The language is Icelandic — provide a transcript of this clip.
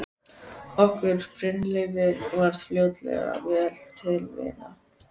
Okkur Brynleifi varð fljótlega vel til vina.